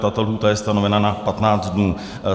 Tato lhůta je stanovena na 15 dnů.